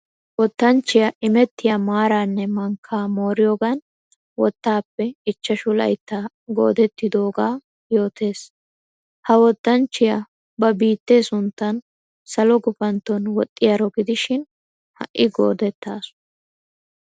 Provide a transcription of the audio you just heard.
Wottanchchiya imettiya maaranne mankka mooriyoogan wottappe ichchashshu laytta goodettidooga yootes. Ha wottanchchiya ba biitte sunttan salo gufantton woxiyaro gidishin ha'i goodettasu.